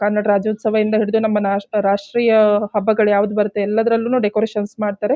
ಕನ್ನಡ ರಾಜ್ಯೋತ್ಸವಯಿಂದ ಹಿಡಿದು ನಮ್ಮ ರಾಷ್ಟ್ರೀಯ ಹಬ್ಬಗಳು ಯಾವುದು ಬರುತ್ತೆ ಎಲ್ಲದರಲ್ಲೂನು ಡೆಕೋರೇಷನ್ಸ್ ಮಾಡ್ತಾರೆ.